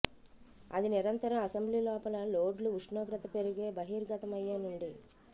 అది నిరంతరం అసెంబ్లీ లోపల లోడ్లు ఉష్ణోగ్రత పెరిగే బహిర్గతమయ్యే నుండి